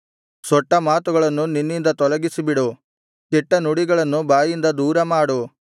ಸೊಟ್ಟಮಾತುಗಳನ್ನು ನಿನ್ನಿಂದ ತೊಲಗಿಸಿಬಿಡು ಕೆಟ್ಟ ನುಡಿಗಳನ್ನು ಬಾಯಿಂದ ದೂರಮಾಡು